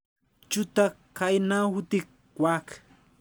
Chutok kainautik kwak .